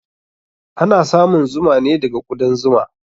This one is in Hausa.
Ana samun zuma ne daga ƙudan zuma